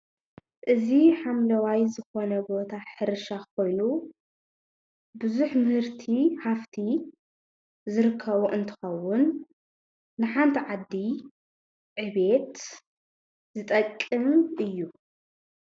እዚ ሓምለዋይ ዝኾነ ቦታ ሕርሻ ኾይኑ ቡዙሕ ምህርቲ ሃፍቲ ዝርከቦ እንትኸውን ንሓንቲ ዓዲ ዕብየት ዝጠቅም እዪ።